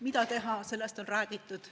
Mida teha, sellest on räägitud.